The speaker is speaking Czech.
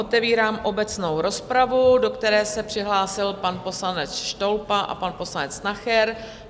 Otevírám obecnou rozpravu, do které se přihlásil pan poslanec Štolpa a pan poslanec Nacher.